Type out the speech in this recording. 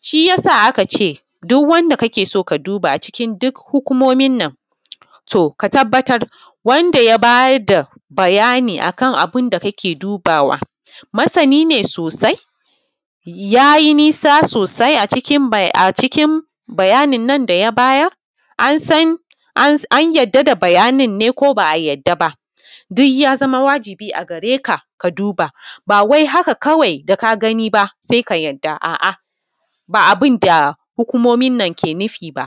shi ya sa aka ce duk wanda kake so ka duba cikin hukumumin nan to ka tabbatar wanda ya bayar da bayani a kan abin da kake dubawa masani ne sosai ya yi nisa sosai a cikin bayanin nan da ya bayar. An yarda da bayanin ko ba a yarda ba, duk ya zama wajibi a gare ka ka duba ba wai haka kawai da ka gani ba sai ka yarda a’a ba abin da hukumumin nan ke nufi ba.